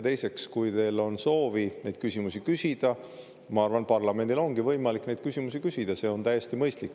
Teiseks, kui teil on soov neid küsimusi küsida, siis ma arvan, et parlamendil ongi võimalik neid küsimusi küsida ja see on täiesti mõistlik.